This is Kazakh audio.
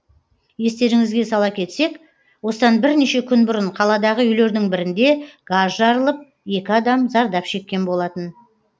естеріңізге сала кетсек осыдан бірнеше күн бұрын қаладағы үйлердің бірінде газ жарылып екі адам зардап шеккен болатын